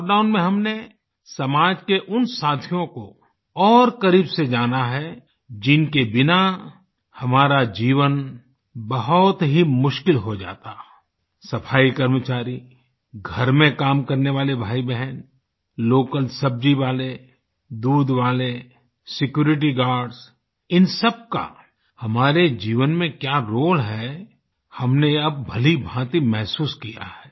lockdown में हमने समाज के उन साथियों को और करीब से जाना है जिनके बिना हमारा जीवन बहुत ही मुश्किल हो जाता सफाई कर्मचारी घर में काम करने वाले भाईबहन लोकल सब्जी वाले दूध वाले सिक्यूरिटी गार्ड्स इन सबका हमारे जीवन में क्या रोल है हमने अब भलीभांति महसूस किया है